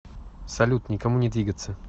салют никому не двигаться